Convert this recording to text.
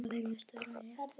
Þetta virðist vera rétt.